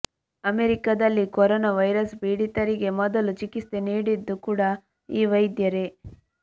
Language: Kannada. ಅಮೆರಿಕದಲ್ಲಿ ಕರೋರಾ ವೈರಸ್ ಪೀಡಿತರಿಗೆ ಮೊದಲು ಚಿಕಿತ್ಸೆ ನೀಡಿದ್ದು ಕೂಡ ಈ ವೈದ್ಯರೇ